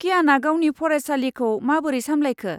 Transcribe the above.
क्याना गावनि फरायसालिखौ माबोरै सामलायखो?